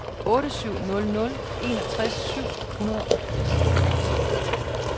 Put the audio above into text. otte syv nul nul enogtres syv hundrede og firs